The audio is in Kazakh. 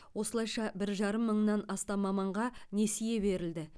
осылайша бір жарым мыңнан астам маманға несие берілді